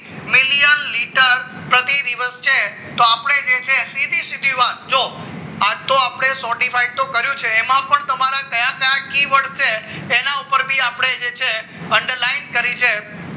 million litter પ્રતિ દિવસ છે તો આપણે છે સીધી સીધી વાત તો આપણે sortified તો કર્યું છે એમાં પણ તમારા કયા કયા છે તેના ઉપર બી આપણે છે underline કરી છે